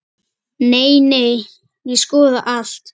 Nei, nei, ég skoða allt.